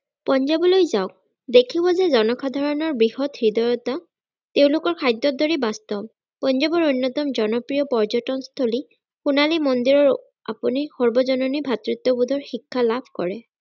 পঞ্জাৱলৈ যাওক দেখিব যে জনসাধাৰণৰ বৃহৎ হৃদয়তা তেওলোকৰ খাদ্যত ধৰি বাস্তৱ । পঞ্জাৱৰ অন্যতম জনপ্ৰিয় পৰ্যতন স্থলি সোনালী মন্দিৰ ও আপুনি সৰ্বজননী ভাতৃত্ববোধৰ শিক্ষা লাভ কৰে।